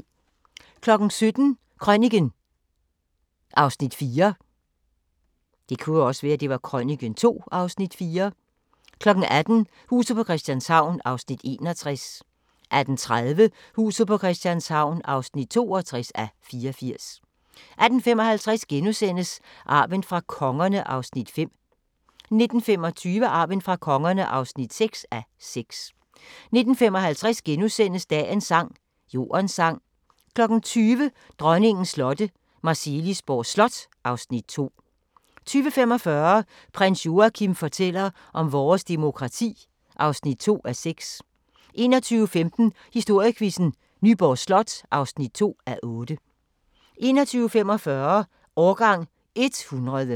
17:00: Krøniken (Afs. 4) 18:00: Huset på Christianshavn (61:84) 18:30: Huset på Christianshavn (62:84) 18:55: Arven fra kongerne (5:6)* 19:25: Arven fra kongerne (6:6) 19:55: Dagens sang: Jordens sang * 20:00: Dronningens slotte – Marselisborg Slot (Afs. 2) 20:45: Prins Joachim fortæller om vores demokrati (2:6) 21:15: Historiequizzen: Nyborg Slot (2:8) 21:45: Årgang 100